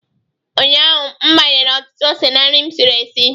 Ụnyahụ m gbakwunyere ọtụtụ ose na nri m siri sie